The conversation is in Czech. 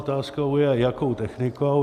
Otázkou je, jakou technikou.